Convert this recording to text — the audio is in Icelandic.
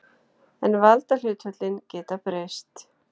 En valdahlutföllin geta breyst.